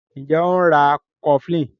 Njé o ń rá cofflin?